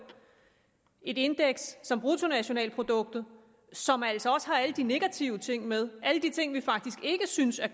indeks som bruttonationalproduktet som altså også har alle de negative ting med alle de ting vi faktisk ikke synes er